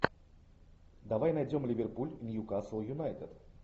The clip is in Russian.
давай найдем ливерпуль ньюкасл юнайтед